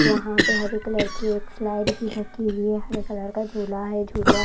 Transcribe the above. वहां पे हरे कलर की एक फ्लैड भी रखी हुई है हर कलर का झोला है झोला --